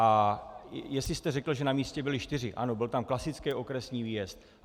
A jestli jste řekl, že na místě byli čtyři, ano, byl tam klasický okresní výjezd.